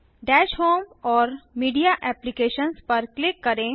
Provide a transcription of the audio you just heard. दश होम और media apps पर क्लिक करें